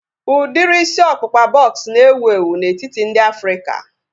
Udiri isi ọkpụkpa bọks na-ewu ewu n'etiti ndị Afrịka